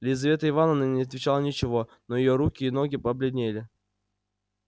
лизавета ивановна не отвечала ничего но её руки и ноги побледенели